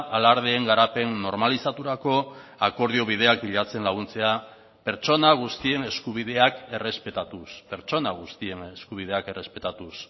alardeen garapen normalizaturako akordio bideak bilatzen laguntzea pertsona guztien eskubideak errespetatuz pertsona guztien eskubideak errespetatuz